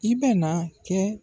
I bɛna kɛ.